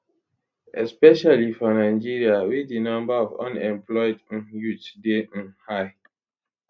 especially for nigeria wey di number of unemployed um youths dey um high